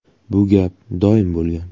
Bu gap doim bo‘lgan.